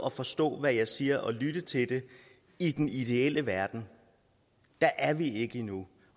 at forstå hvad jeg siger og lytte til det i den ideelle verden der er vi ikke endnu